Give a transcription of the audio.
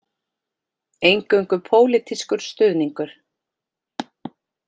Eingöngu pólitískur stuðningur